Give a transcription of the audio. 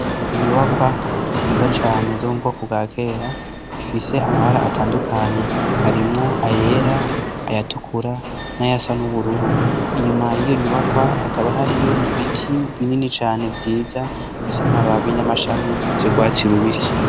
Inyubakwa nziza cane zo mu bwoko bwa kera, ifise amabara atandukanye harimwo ayera, ayatukura n'ayasa n'ubururu. Inyuma y'iyo nyubakwa hakaba hariyo ibiti binini cane vyiza bifise amababi n'amashami vy'urwatsi rubisi.